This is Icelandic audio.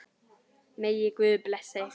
Megi Guð blessa ykkur.